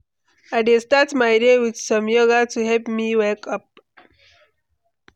I dey start my day with some yoga to help me wake up.